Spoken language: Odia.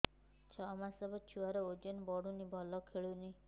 ଛଅ ମାସ ହବ ଛୁଆର ଓଜନ ବଢୁନି ଭଲ ଖେଳୁନି